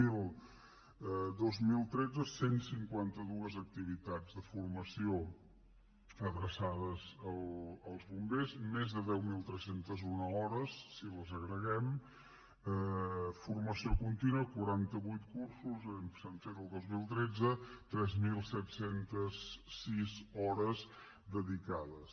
miri per a dos mil tretze cent i cinquanta dos activitats de formació adreçades als bombers més de deu mil tres cents i un hores si les agreguem formació contínua quaranta vuit cursos s’han fet el dos mil tretze tres mil set cents i sis hores dedicades